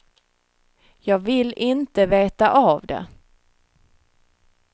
Jag vill inte veta av det.